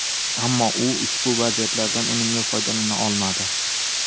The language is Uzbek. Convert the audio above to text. Ammo u ushbu vaziyatlardan unumli foydalana olmadi.